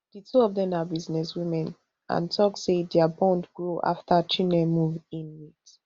di two of dem na businesswomen and tok say dia bond grow afta chinne move in wit